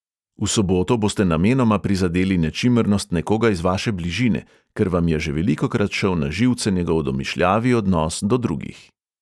V soboto boste namenoma prizadeli nečimrnost nekoga iz vaše bližine, ker vam je že velikokrat šel na živce njegov domišljavi odnos do drugih.